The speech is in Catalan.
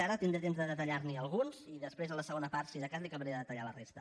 ara tindré temps de detallar li’n alguns i després a la segona part si de cas li acabaré de detallar la resta